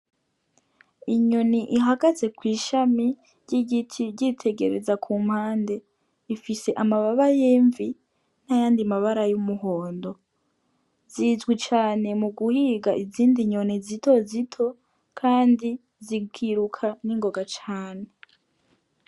Inyoni ihagaze kwi shami ry' igiti ryitegereza ku mpande, ifise amababa y'imvi n' ayandi mabara y' umuhondo, zizwi cane mugu higa izindi nyoni zito zito kandi zikiruka ningoga cane.